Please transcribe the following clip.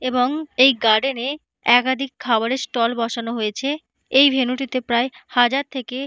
এবং এই গার্ডেন এ একাধিক খাবারের স্টল বসানো হয়েছে। এই ভেনু টিতে প্রায় হাজার থেকে।